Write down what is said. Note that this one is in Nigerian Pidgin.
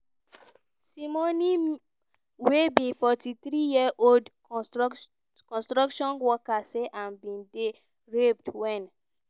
simoné m wey be 43-year-old construction worker say im bin dey raped wen